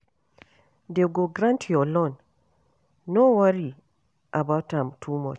Dey go grant your loan, no worry about am too much.